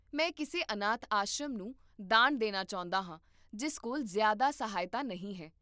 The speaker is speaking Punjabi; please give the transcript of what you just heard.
ਮੈਂ ਕਿਸੇ ਅਨਾਥ ਆਸ਼ਰਮ ਨੂੰ ਦਾਨ ਦੇਣਾ ਚਾਹੁੰਦਾ ਹਾਂ ਜਿਸ ਕੋਲ ਜ਼ਿਆਦਾ ਸਹਾਇਤਾ ਨਹੀਂ ਹੈ